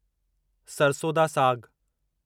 सरसों दा साग